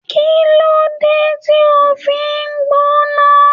Kilode ti o fi n gbóná?